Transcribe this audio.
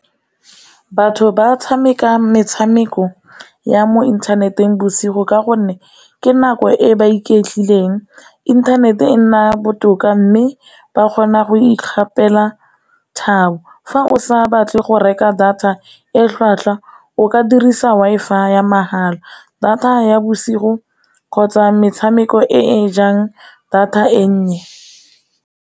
Batho ba tshameka metshameko ya mo inthaneteng bosigo ka gonne ke nako e ba iketlileng, inthanete e nna botoka mme ba kgona go ikgapela fa o sa batle go reka data e tlhwatlhwa, o ka dirisa Wi-Fi ya mahala, data ya bosigo, kgotsa metshameko e jang data e nnye.